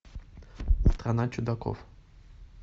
страна чудаков